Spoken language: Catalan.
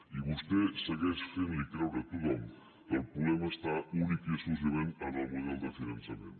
i vostè segueix fent creure a tothom que el problema està únicament i exclusivament en el model de finançament